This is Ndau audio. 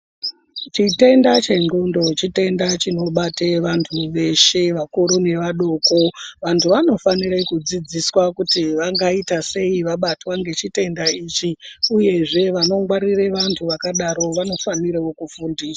Chitenda chendhlondo chitenda chinobata vantu veshe vakuru nevadoko vantu vanofanire kudzidziswa kuti vangaita sei vabatwa ngechitenda ichi uyezve vanongwarire vanhu vakadaro vanofanirewo kufundiswa.